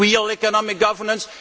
Is there real economic governance?